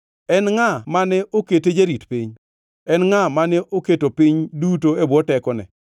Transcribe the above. En ngʼa mane okete jarit piny? En ngʼa mane oketo piny duto e bwo tekone?